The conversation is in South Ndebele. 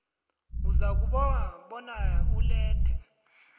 uzakubawa bona ulethe